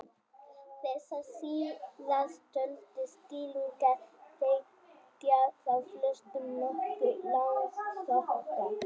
Þessar síðasttöldu skýringar þykja þó flestum nokkuð langsóttar.